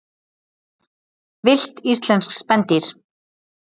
Villt íslensk spendýr.